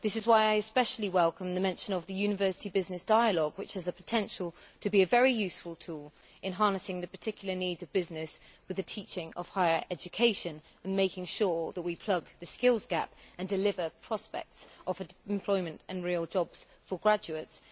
This is why I especially welcome the mention of the University Business Dialogue, which has the potential to be a very useful tool in harnessing the particular needs of business with the teaching of higher education and making sure that we plug the skills gap and deliver prospects of employment and real jobs for graduates.